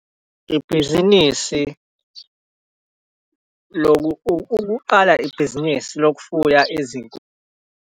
Ibhizinisi ukuqala ibhizinisi lokufuya .